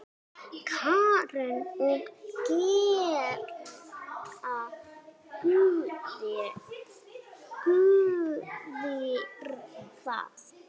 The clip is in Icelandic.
Karen: Og gera guðir það?